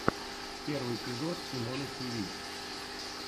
первый эпизод симоны тиви